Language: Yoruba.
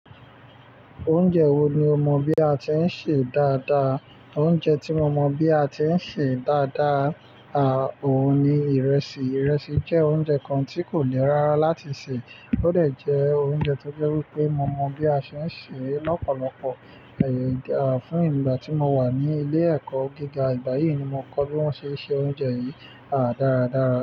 Oúnjẹ wo ni o mọ bí a ti ń sè dáadáa? Oúnjẹ tí mo mọ bí a ti ń sè dáadáa, à, òun ni ìrẹsì. Ìrẹsì jẹ́ oúnjẹ kan tí kò le rárá láti sè. Ó dè jẹ́ oúnjẹ tó jẹ́ wípé mo mọ bí a ṣe ń sè é lọ́pọ̀lọpọ̀, àyè, à, fún ìgbà tí mo wà ní ilé ẹ̀kọ́ gíga. Igbà yìí ni mo kọ́ bí wón ṣe ń se oúnjẹ yìí, à, dáradára.